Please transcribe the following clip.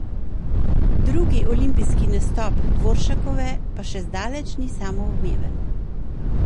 Drugi olimpijski nastop Dvoršakove pa še zdaleč ni samoumeven.